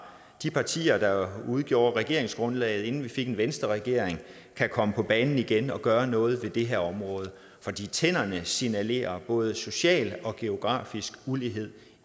de partier der udgjorde regeringsgrundlaget inden vi fik en venstreregering kan komme på banen igen og gøre noget ved det her område for tænderne signalerer både social og geografisk ulighed